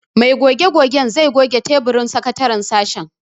Mai goge-gogen zai goge taburin sakataren sashen.